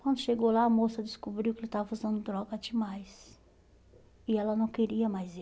Quando chegou lá, a moça descobriu que ele estava usando droga demais e ela não queria mais